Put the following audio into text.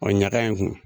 O ɲaga in kun